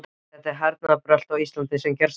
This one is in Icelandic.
Þetta hernaðarbrölt á Íslandi er gersamlega óþolandi.